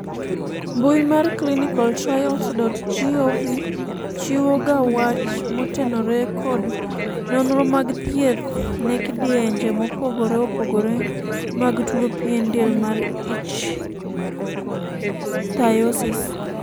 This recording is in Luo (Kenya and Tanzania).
mbui mar ClinicalTrials.gov chiwo ga wach motenore kod nonro mag thieth ne kidienje mopogore opogore mag tuo pien del mar ichthyosis